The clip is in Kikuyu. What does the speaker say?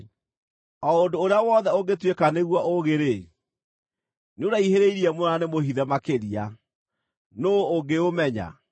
O ũndũ ũrĩa wothe ũngĩtuĩka nĩguo, ũũgĩ-rĩ, nĩũraihĩrĩirie mũno na nĩmũhithe makĩria: nũũ ũngĩũmenya?